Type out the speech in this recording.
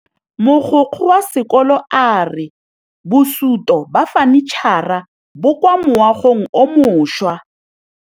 Mogokgo wa sekolo a re bosutô ba fanitšhara bo kwa moagong o mošwa.